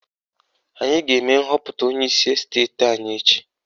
Anyị ga-eme nhọpụta onyeisi esteti anyị echi